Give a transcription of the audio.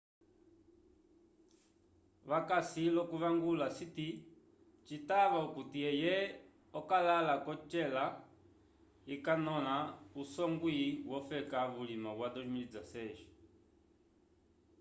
vakasi l'okuvangula siti citava okuti eye okakala k'ocela ikanõla usongwi wofeka vulima wa 2016